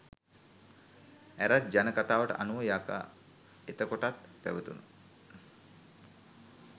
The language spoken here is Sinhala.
ඇරත් ජන කථාවට අනුව යකා එතකොටත් පැවතුන